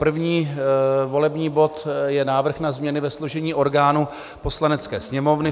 První volební bod je návrh na změny ve složení orgánů Poslanecké sněmovny.